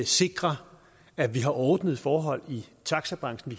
sikrer at vi har ordnede forhold i taxabranchen